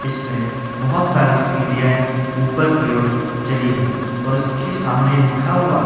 इसमें बहुत सारी सीढ़ियांए ऊपर की ओर चली हैं और उसके सामने लिखा हुआ है।